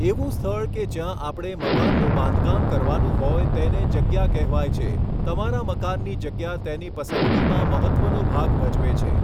એવું સ્થળ કે જ્યાં આપણે મકાનનું બાંધકામ કરવાનું હોય તેને જગ્યા કહેવાય છે. તમારા મકાનની જગ્યા તેની પસંદગીમાં મહત્ત્વનો ભાગ ભજવે છે.